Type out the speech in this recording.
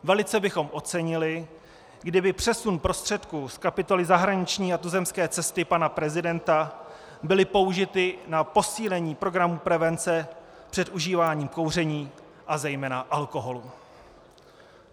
Velice bychom ocenili, kdyby přesun prostředků z kapitoly zahraniční a tuzemské cesty pana prezidenta byly použity na posílení programu prevence před užíváním kouření a zejména alkoholu.